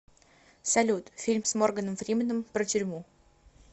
салют фильм с морганом фриманом про тюрьму